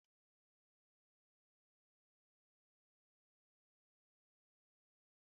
Ọ na-amasị gị iri spagéti n'abalị?